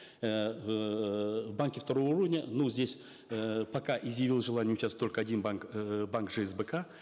эээ в банке второго уровня ну здесь э пока изъявил желание участвовать только один банк э банк жсбк